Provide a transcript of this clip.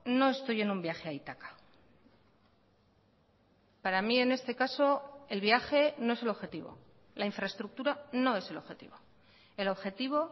no estoy en un viaje a ítaca para mí en este caso el viaje no es el objetivo la infraestructura no es el objetivo el objetivo